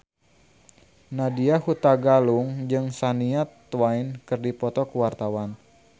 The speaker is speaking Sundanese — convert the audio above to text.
Nadya Hutagalung jeung Shania Twain keur dipoto ku wartawan